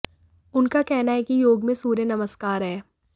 उनका कहना है कि योग में सूर्य नमस्कार है